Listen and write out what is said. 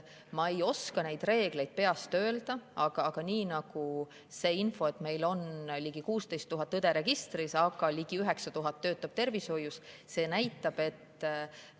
Ma ei oska neid reegleid peast öelda, aga see info näitab, et meil on registris ligi 16 000 õde, neist tervishoius töötab ligi 9000.